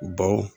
Baw